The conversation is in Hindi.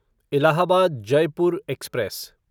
इलाहाबाद जयपुर एक्सप्रेस